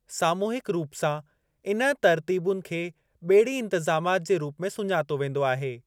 सामूहिकु रूप सां इन तर्तीबुनि खे बे॒ड़ी-इंतिजामाति जे रूप में सुञातो वेंदो आहे।